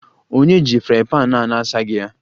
Ònye ji frying pan a na-asaghị ya?